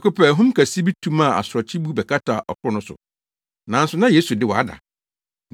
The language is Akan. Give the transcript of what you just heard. Prɛko pɛ, ahum kɛse bi tu maa asorɔkye bu bɛkataa ɔkorow no so. Nanso na Yesu de, wada.